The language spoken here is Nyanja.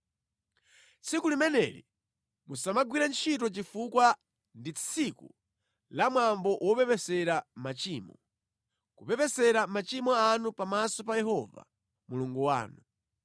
Tsiku limeneli musamagwire ntchito chifukwa ndi tsiku la Mwambo Wopepesera Machimo, kupepesera machimo anu pamaso pa Yehova Mulungu wanu.